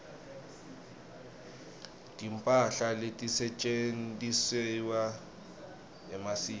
timphahla letisetjentisewa emasiko